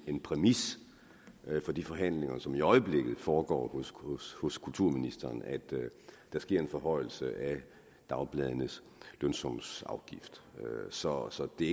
en præmis for de forhandlinger som i øjeblikket foregår hos kulturministeren at der sker en forhøjelse af dagbladenes lønsumsafgift så så det er